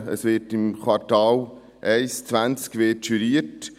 Es wird im Quartal 1/2020 juriert.